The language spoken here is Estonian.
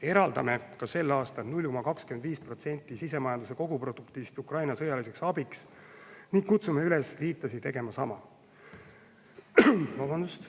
Eraldame ka sel aastal 0,25% sisemajanduse koguproduktist Ukraina sõjaliseks abiks ning kutsume üles liitlasi tegema sama.